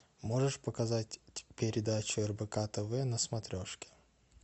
можешь показать передачу рбк тв на смотрешке